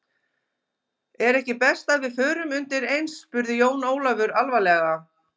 Er ekki best að við förum undir eins spurði Jón Ólafur alvarlega.